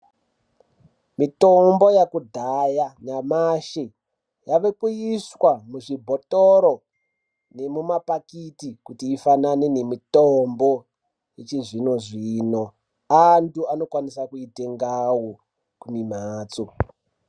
Mitombo yekudhaya nyamashi yavakuiswa muzvibhotoro nemumapakiti kuti ifananane nemitombo yechizvinozvino anthu anokwanisa kuitengao mimhatso.